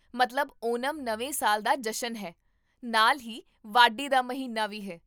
ਮਤਲਬ ਓਨਮ ਨਵੇਂ ਸਾਲ ਦਾ ਜਸ਼ਨ ਹੈ, ਨਾਲ ਹੀ ਵਾਢੀ ਦਾ ਮਹੀਨਾ ਵੀ ਹੈ